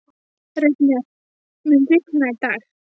Reifnir, mun rigna í dag?